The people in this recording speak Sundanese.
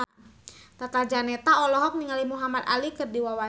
Tata Janeta olohok ningali Muhamad Ali keur diwawancara